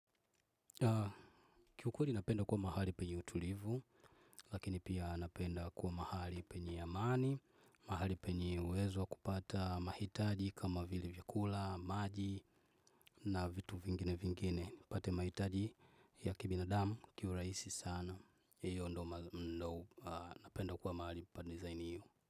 Kiukweli napenda kuwa mahali penye utulivu lakini pia napenda kuwa mahali penye amani, mahali penye uwezo wa kupata mahitaji kama vile vyakula, maji na vitu vingine vingine. Nipate mahitaji ya kibinadamu kiurahisi sana. Hiyo ndo napenda kuwa mahali pa design hiyo.